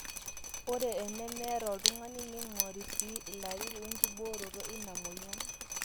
ore enemeeta oltung'ani neing'ori sii ilarin wenkibooroto ina mweyian